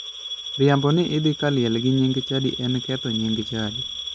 Riambo ni idhi kaliel gi nying chadi en ketho nying chadi.